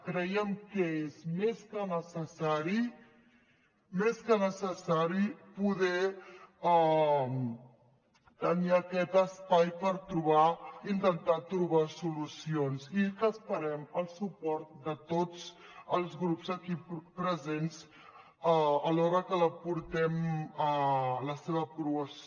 creiem que és més que necessari poder tenir aquest espai per intentar trobar solucions i que esperem el suport de tots els grups aquí presents a l’hora que la portem a la seva aprovació